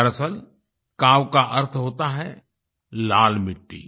दरअसल काव का अर्थ होता है लाल मिट्टी